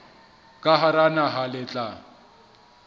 ka hara naha le tla